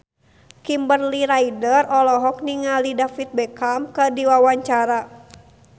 Kimberly Ryder olohok ningali David Beckham keur diwawancara